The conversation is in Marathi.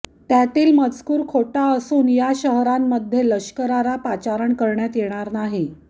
त्यातील मजकूर हा खोटा असून या शहरांमध्ये लष्कराला पाचारण करण्यात येणार नाही